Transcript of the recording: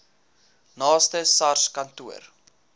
naaste sars kantoor